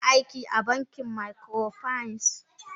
Tana aiki a bankin microfinance.